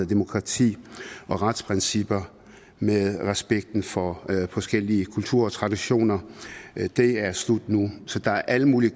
demokrati og retsprincipper med respekten for forskellige kulturer og traditioner det er slut nu så der er al mulig